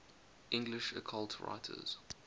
english occult writers